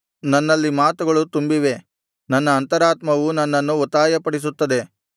ನನ್ನಲ್ಲಿ ಮಾತುಗಳು ತುಂಬಿವೆ ನನ್ನ ಅಂತರಾತ್ಮವು ನನ್ನನ್ನು ಒತ್ತಾಯಪಡಿಸುತ್ತದೆ